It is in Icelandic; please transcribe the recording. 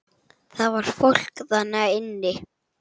Það var fólk þarna inni!